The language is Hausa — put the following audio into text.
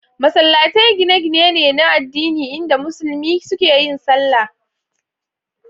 Masallatai gine-gine ne na addini inda musulmi suke yin sallah.